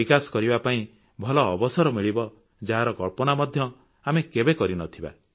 ବିକାଶ କରିବା ପାଇଁ ଭଲ ଅବସର ମିଳିବ ଯାହାର କଳ୍ପନା ମଧ୍ୟ ଆମେ କେବେ କରିନଥିବା